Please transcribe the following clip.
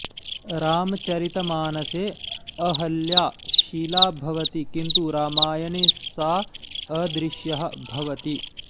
रामचरितमानसे अहल्या शिला भवति किन्तु रामायणे सा अदृश्यः भवति